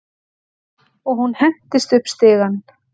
Og hún hentist upp stigann.